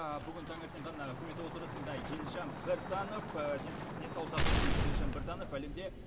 бүгін таңертең ғана үкімет отырысында елжан біртанов денсаулық сақтау министрі елжан біртанов әлемде